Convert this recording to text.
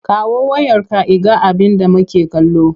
Kawo wayarka in ga abinda make kallo!